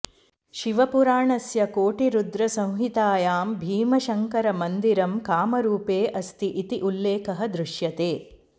शिवपुराणस्य कोटिरुद्रसंहितायां भीमशङ्करमन्दिरं कामरूपे अस्ति इति उल्लेखः दृश्यते